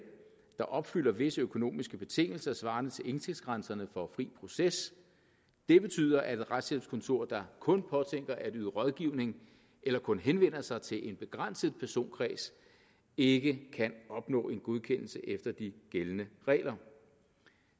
der opfylder visse økonomiske betingelser svarende til indtægtsgrænserne for fri proces det betyder at et retshjælpskontor der kun påtænker at yde rådgivning eller kun henvender sig til en begrænset personkreds ikke kan opnå en godkendelse efter de gældende regler